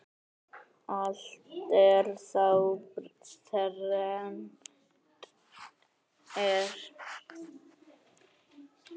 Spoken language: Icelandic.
Allt er þá þrennt er.